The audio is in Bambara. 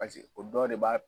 Paseke o dɔ de b'a